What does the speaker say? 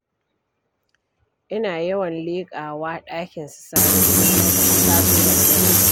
Ina yawan leƙawa ɗakin su Sani idan na taso daga darasi.